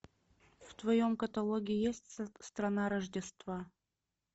в твоем каталоге есть страна рождества